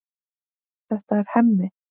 Þetta er Hemmi.